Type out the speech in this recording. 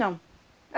Não.